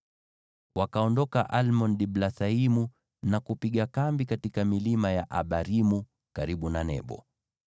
Wakaondoka Almon-Diblathaimu na kupiga kambi katika milima ya Abarimu, karibu na Nebo.